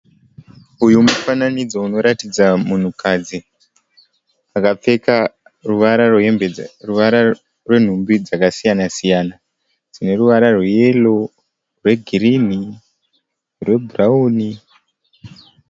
Uyu mufananidzo unoratidza munhukadzi. Akapfeka ruvara rwemhumbi dzakasiyana siyana. Dzine ruvara rweyero, rweginhi, rwebhurawuni.